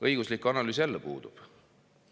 Õiguslik analüüs jälle puudub.